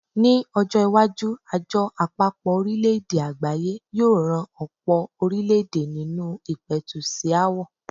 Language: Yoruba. Ní ọjọ́-iwájú, Àjọ Àpapọ̀-orílẹ̀-èdè Àgbáyé yóò ran ọ̀pọ̀ orílẹ̀-èdè nínú ìpẹ̀tù sí aáwọ̀.